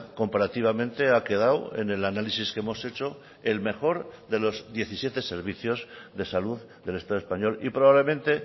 comparativamente ha quedado en el análisis que hemos hecho el mejor de los diecisiete servicios de salud del estado español y probablemente